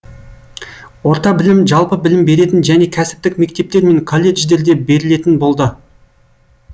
орта білім жалпы білім беретін және кәсіптік мектептер мен колледждерде берілетін болды